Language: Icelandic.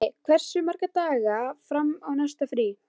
Tumi, hversu margir dagar fram að næsta fríi?